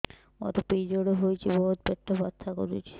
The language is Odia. ମୋର ପିରିଅଡ଼ ହୋଇଛି ବହୁତ ପେଟ ବଥା କରୁଛି